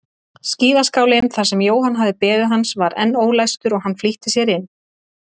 Skíðaskálinn þar sem Jóhann hafði beðið hans var enn ólæstur og hann flýtti sér inn.